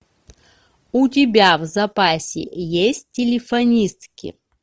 у тебя в запасе есть телефонистки